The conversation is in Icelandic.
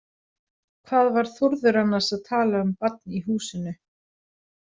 Hvað var Þórður annars að tala um barn í húsinu?